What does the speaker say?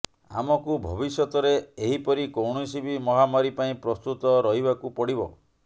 ଆମକୁ ଭବିଷ୍ୟତରେ ଏହି ପରି କୌଣସି ବି ମହାମାରୀ ପାଇଁ ପ୍ରସ୍ତୁତ ରହିବାକୁ ପଡିବ